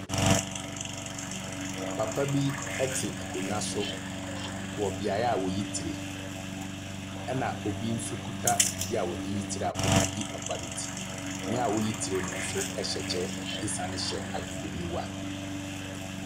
Papa bi te akonnwa so wɔ beaeɛ a wɔyi tire ɛna obi nso kuta afidie a wɔde yi tire a ɔde reyi papa no ti. Ne ɔreyi tire no hyɛ kyɛ sane hyɛ ahwehwɛniwa.